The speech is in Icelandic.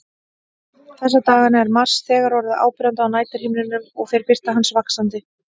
Þessa dagana er Mars þegar orðinn áberandi á næturhimninum og fer birta hans vaxandi.